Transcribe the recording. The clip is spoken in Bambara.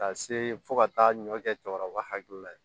Ka se fo ka taa ɲɔ kɛ cɛkɔrɔba hakili la ye